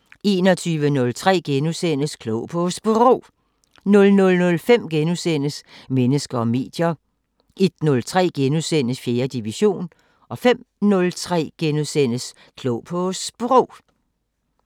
21:03: Klog på Sprog * 00:05: Mennesker og medier * 01:03: 4. division * 05:03: Klog på Sprog *